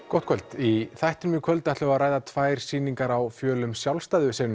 gott kvöld í þættinum í kvöld ætlum við að ræða tvær sýningar á fjölum sjálfstæðu